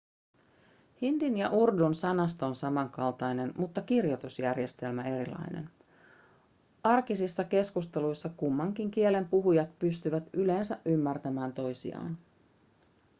hindin ja urdun sanasto on samankaltainen mutta kirjoitusjärjestelmä erilainen arkisissa keskusteluissa kummankin kielen puhujat pystyvät yleensä ymmärtämään toisiaan